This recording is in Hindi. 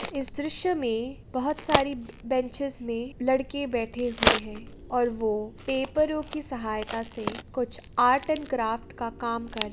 इस दृश्य में बहुत सारी ब बेनचेस मे लड़के बैठे हुए हैं और वो पेपरों की सहायता से कुछ आर्ट एण्ड क्राफ्ट का काम कर --